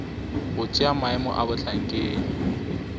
go tšea maemo a bohlankedi